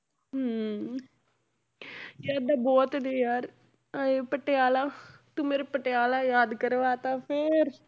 ਹਮ ਯਾਦਾਂ ਬਹੁਤ ਨੇ ਯਾਰ ਆਏ ਪਟਿਆਲੇ ਤੂੰ ਮੇਰੇ ਪਟਿਆਲਾ ਯਾਦ ਕਰਵਾ ਦਿੱਤਾ ਫਿਰ।